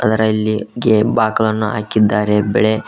ಅದರಲ್ಲಿ ಗೆ ಬಾಕಲನ್ನು ಹಾಕಿದ್ದಾರೆ ಬೆಳೆ--